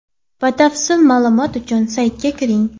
Batafsil ma’lumot uchun saytiga kiring!